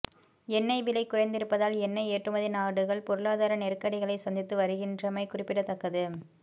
எண்ணெய் விலை குறைந்திருப்பதால் எண்ணெய் ஏற்றுமதி நாடுகள் பொருளாதார நெருக்கடிகளை சந்தித்து வருகின்றமை குறிப்பிடத்தக்கது